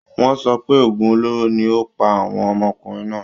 wọ́n sọ pé òògùn olóró ni ó pa àwọn ọmọkùnrinn náà